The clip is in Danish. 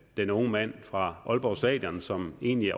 den unge mand fra aalborg stadion som egentlig